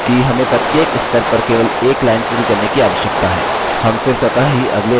हम फिर स्वतः ही अगले स्तर पर चले जाएँगे